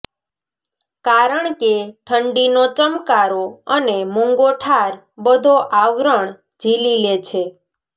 કારણ કે ઠંડીનો ચમકારો અને મૂંગોઠાર બધો આવરણ ઝીલી લે છે